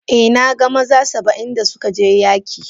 Eh, na gan maza Saba'in da suka je yaki.